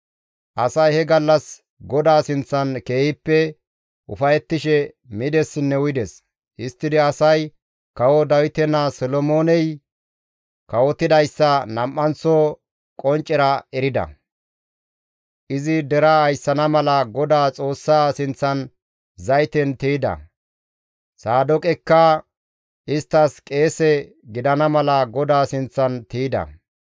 Asay he gallas GODAA sinththan keehippe ufayettishe midessinne uyides; histtidi asay kawo Dawite naa Solomooney kawotidayssa nam7anththo qonccera erida; izi deraa ayssana mala Godaa Xoossa sinththan zayten tiyda; Saadooqekka isttas qeese gidana mala GODAA sinththan tiyda.